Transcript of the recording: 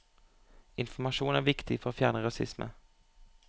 Informasjon er viktig for å fjerne rasisme.